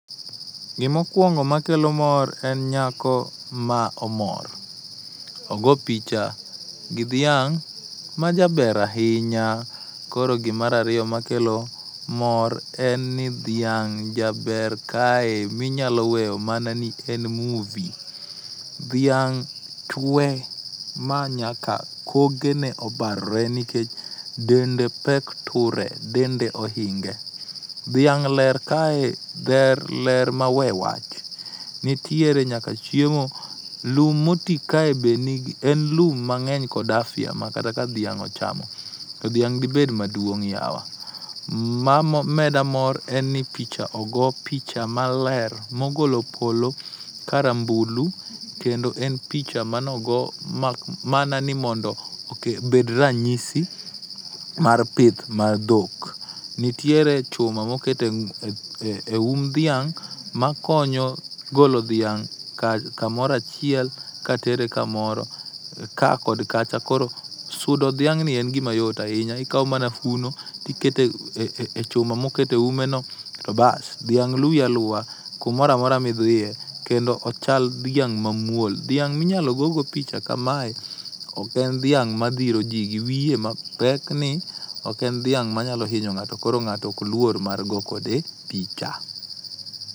Gima okuongo makelo mor en nyako ma omor. Ogo picha gi dhiang' ma jaber ahinya, koro gi mar ariyo makelo mor en ni dhiang' jaber kae ma inyalo weyo mana ni en muvi, dhiang' chwe ma nyaka kokene obarore nimar dende pek ture, dende ohinge. Dhiang' ler kae dher ler ma we wach, nitiere nyaka chiemo lum moti kae be nigi en lum mang'eny kod afya ma kata ka dhiang' ochamo to dhiang' dibed maduong' yawa. Ma meda mor en ni picha ogo picha maler mogolo polo karambulu kendo en picha manogo mana ni mondo oke bed ranyisi mar pith mar dhok. Nitiere chuma moket e ng'u eum dhiang' makonyo golo dhiang' kamoro achiel katere kamoro kaa kod kacha. Koro sudo dhiang'ni en gima yot ahinya, ikawo mana uno to iketo e chuma moket e umeno to bas, dhiang' luwi aluwa kumoro amora midhiye, kendo ochal dhiang' mamuol. Dhiang' ma inyalo go godo picha kamae ok en dhiang' dhiri ji gi wiye mapek ni, ok en dhiang' manyalo hinyo ng'ato koro ng'ato ok luor mar goyo kode picha.